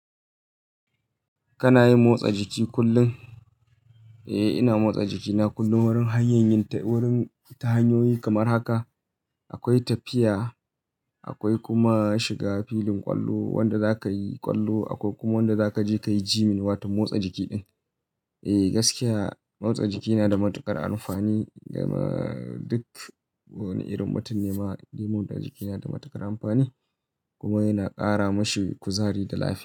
Kana yin motsa jiki kullum? Eh, ina motsa jikina kullum wurin hanyanyin ta-- wurin ta hanyoyi kamar haka akwai tafiya, akwai kuma shiga filin ƙwallo wanda za ka yi ƙwallo, akwai kuma wanda za ka je ka yi gyming, waton motsa jiki ɗin. Eh gaskiya motsa jiki na da matuƙar amfani gama duk wani irin mutum nema dai jiki na da matuƙar amfani kuma yana ƙara mashi kuzari da lafiya.